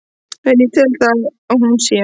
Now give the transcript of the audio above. en það tel ég að hún sé.